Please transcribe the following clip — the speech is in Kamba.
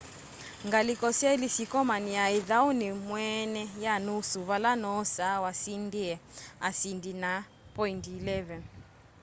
ngaliko syeli syikomania ithauni mweene ya nusu vala noosa wasindie asindi na poindi 11